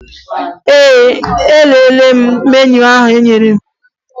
Ee, elelere m meniu ha nyere m